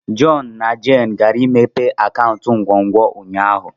John na Jane gara imepe akaụntụ nkwonkwo ụnyahụ.